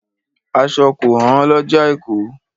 Aṣọ kò hán lọjà èkó.